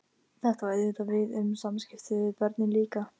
Einn af góðkunningjum fiðlarans varð mér hugstæður fyrir annarskonar böl.